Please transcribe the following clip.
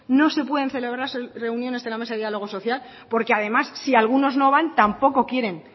no se pueden celebrar reuniones de la mesa de diálogo social porque además si algunos no van tampoco quieren